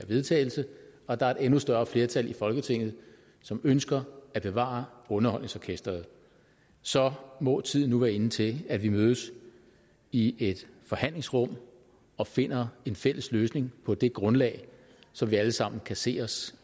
vedtagelse og at der er et endnu større flertal i folketinget som ønsker at bevare underholdningsorkestret så må tiden være inde til at vi mødes i et forhandlingsrum og finder en fælles løsning på det grundlag som vi alle sammen kan se os